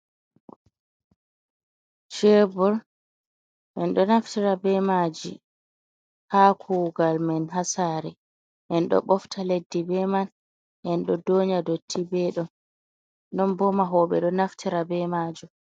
Chebor on ɗo naftira be maji ha kugal men ha sare, en ɗo bofta leddi be man, en ɗo donya dotti ɓeɗo non bo ma woɓɓe ɗo naftira be majum.